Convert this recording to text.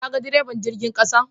Kaga deriban jirgin ƙasan?